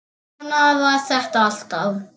Svona var þetta alltaf.